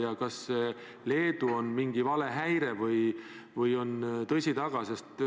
Ja kas see Leedu-sõnum on mingi valehäire või on sel tõsi taga?